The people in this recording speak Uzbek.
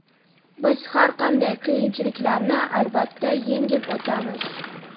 biz har qanday qiyinchiliklarni albatta yengib o‘tamiz!.